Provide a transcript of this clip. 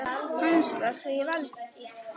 Hans var því valdið.